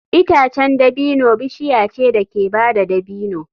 Itacen dabino bishiya ce da ke bada dabino.